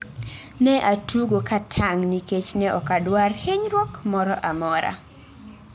Ne atugo ka tang' nikech ne ok adwar hinyruok moro amora